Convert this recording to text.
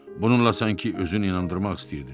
Bununla sanki özünü inandırmaq istəyirdi.